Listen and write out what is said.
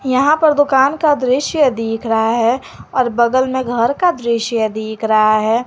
यहां पर दुकान का दृश्य दिख रहा है और बगल में घर का दृश्य दिख रहा है।